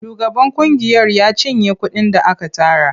Shugaban ƙungiyar ya cinye kuɗin da aka tara.